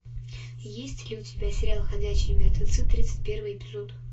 есть ли у тебя сериал ходячие мертвецы тридцать первый эпизод